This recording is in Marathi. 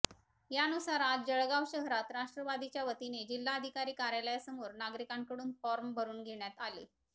यानुसार आज जळगाव शहरात राष्ट्रवादीच्या वतीने जिल्हाधिकारी कार्यालयासमोर नागरिकांकडून फॉर्म भरून घेण्यात आले